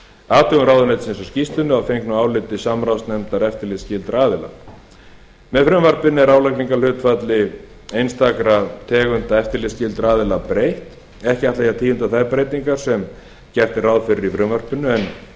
athugun ráðuneytisins á skýrslunni og að fengnu áliti samráðsnefndar eftirlitsskyldra aðila með frumvarpinu er álagningarhlutfalli einstakra tegunda eftirlitsskyldra aðila breytt ekki ætla ég að tíunda þær breytingar sem gert er ráð fyrir í frumvarpinu er